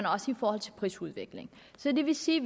også i forhold til prisudviklingen det vil sige